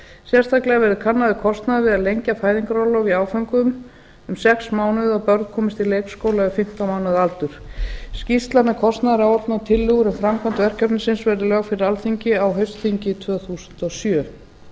sérstaklega verði kannaður kostnaður við að lengja fæðingarorlof í áföngum um sex mánuði og að börn komist á leikskóla við fimmtán mánaða aldur skýrsla með kostnaðaráætlun og tillögur um framkvæmd verkefnis verði lögð fyrir alþingi á haustþingi tvö þúsund og sjö